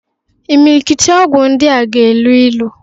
Imilikiti ọgwụ ndịa na-elu ilu.